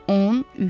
13.